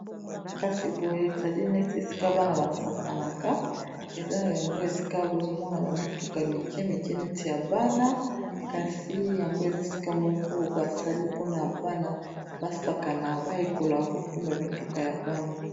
Kasi boye ezali neti esika bana basakanaka eza yango esika bozomona ba mituka mike mike neti ya bana kasi yango eza esika moko basali mpona bana ba sakana bayekola kokumba mituka ya bana.